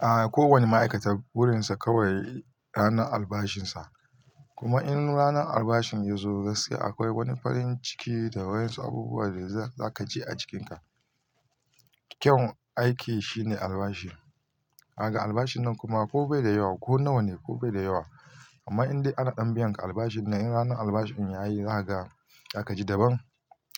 A, ko wani ma'aikata, burinsa kawai ranar albashinsa. Kuma in ranar albashin ya zo, gaskiya akwai wani farin ciki da waƴansu abubuwa da za ka ji a jikinka. Kyawun aiki shine albashi. Haga albashin nan kuma ko bai da yawa, ko nawa ne ko bai da yawa. Amma in dai ana ɗan biyan ka albashin nan, in ranar albashin ya yi za ka ga za ka ji daban.